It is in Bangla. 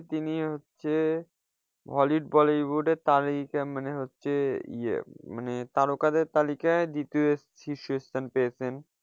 তিনি হচ্ছেন hollywood bollywood এর তারকা মানে হচ্ছে ইয়ে মানে তারকাদের তালিকায় দ্বিতীয় শীর্ষ স্থান পেয়েছেন।